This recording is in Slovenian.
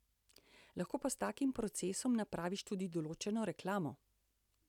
Lahko pa s takim procesom napraviš tudi določeno reklamo.